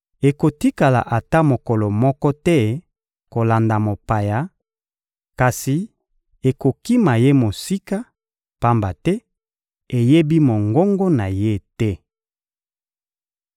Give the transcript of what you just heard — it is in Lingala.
Ekotikala ata mokolo moko te kolanda mopaya; kasi ekokima ye mosika, pamba te eyebi mongongo na ye te.